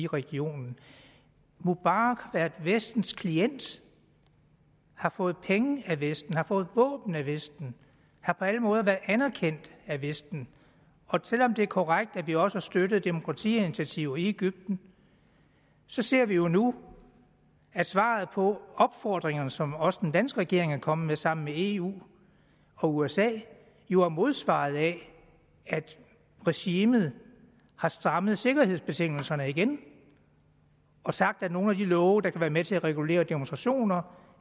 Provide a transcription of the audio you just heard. regionen mubarak er vestens klient har fået penge af vesten har fået våben af vesten har på alle måder været anerkendt af vesten og selv om det er korrekt at vi også har støttet demokratiinitiativer i egypten så ser vi jo nu at svaret på opfordringerne som også den danske regering er kommet med sammen med eu og usa jo er modsvaret af at regimet har strammet sikkerhedsbetingelserne igen og sagt at nogle af de love der kan være med til at regulere demonstrationer